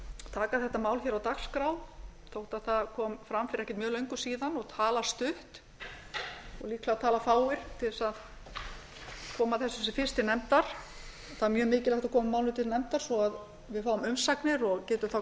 taka þetta mál hér á dagskrá þótt það komi fram fyrir ekkert mjög löngu síðan og talar stutt og líklega tala fáir á þess að koma þessu sem fyrst til nefndar það er mjög mikilvægt að koma málum til nefndar svo við fáum umsagnir og getum þá